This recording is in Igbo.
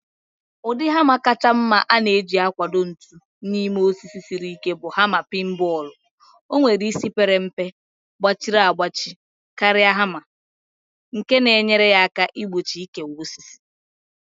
Ụdị hama kacha mma a na-eji akwọba ntu n'ime osisi siri ike bụ hama peen bọọlụ. O nwere isi pere mpe, gbachiri agbachie karịa hama, nke na-enyere aka igbochi ikewa osisi.